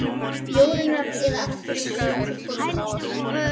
Jórunnar, eða aftur í skut til formannsins.